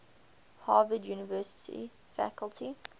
harvard university faculty